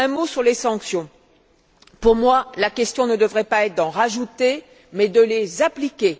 Un mot sur les sanctions pour moi, la question ne devrait pas être d'en rajouter, mais enfin de les appliquer.